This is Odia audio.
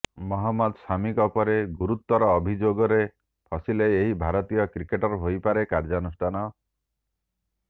ମହମ୍ମଦ ଶମିଙ୍କ ପରେ ଗୁରୁତର ଅଭିଯୋଗରେ ଫସିଲେ ଏହି ଭାରତୀୟ କ୍ରିକେଟର ହୋଇପାରେ କାର୍ଯ୍ୟାନୁଷ୍ଠାନ